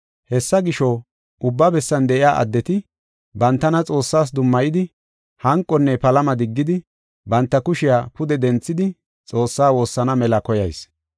Hessa gisho, ubba bessan de7iya addeti, bantana Xoossaas dummayidi, hanqonne palama diggidi, banta kushiya pude denthidi Xoossaa woossana mela koyayis.